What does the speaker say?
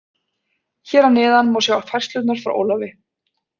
Hér að neðan má sjá færslurnar frá Ólafi.